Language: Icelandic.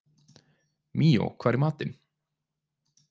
Míó, hvað er í matinn?